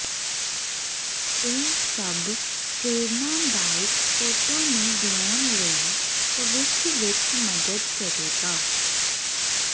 ਇਹ ਸਭ ਪ੍ਰੇਰਣਾਦਾਇਕ ਫੋਟੋ ਨੂੰ ਬਣਾਉਣ ਲਈ ਭਵਿੱਖ ਵਿੱਚ ਮਦਦ ਕਰੇਗਾ